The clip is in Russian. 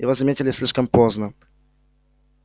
его заметили слишком поздно